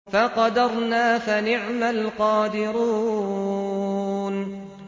فَقَدَرْنَا فَنِعْمَ الْقَادِرُونَ